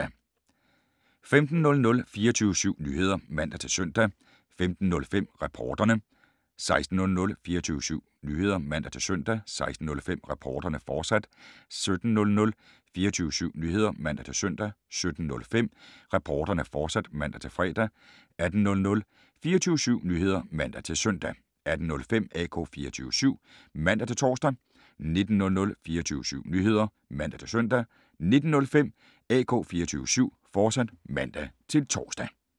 15:00: 24syv Nyheder (man-søn) 15:05: Reporterne 16:00: 24syv Nyheder (man-søn) 16:05: Reporterne, fortsat 17:00: 24syv Nyheder (man-søn) 17:05: Reporterne, fortsat (man-fre) 18:00: 24syv Nyheder (man-søn) 18:05: AK 24syv (man-tor) 19:00: 24syv Nyheder (man-søn) 19:05: AK 24syv, fortsat (man-tor)